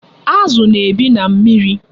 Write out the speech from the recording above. Azu na-ebi na mmiri